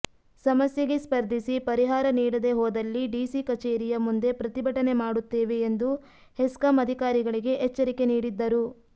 ಸಮಸ್ಯೆಗೆ ಸ್ಪರ್ಧಿಸಿ ಪರಿಹಾರ ನೀಡದೇ ಹೋದಲ್ಲಿ ಡಿಸಿ ಕಚೇರಿಯ ಮುಂದೆ ಪ್ರತಿಭಟನೆ ಮಾಡುತ್ತೇವೆ ಎಂದು ಹೆಸ್ಕಾಂ ಅಧಿಕಾರಿಗಳಿಗೆ ಎಚ್ಚರಿಕೆ ನೀಡಿದ್ದರು